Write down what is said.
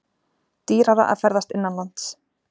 Dýrara að ferðast innanlands